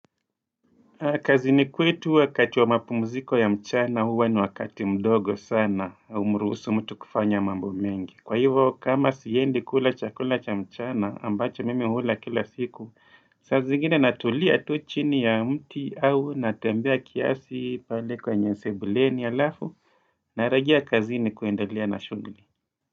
Kazini kwetu wakati wa mapumziko ya mchana huwa ni wakati mdogo sana haumruhusu mtu kufanya mambo mengi Kwa hivyo kama siendi kula chakula cha mchana ambacho mimi hula kila siku saa zingine natulia tu chini ya mti au natembea kiasi pale kwenye sebuleni alafu Narejea kazini kuendelea na shughli.